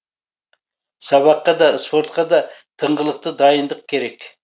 сабаққа да спортқа да тыңғылықты дайындық керек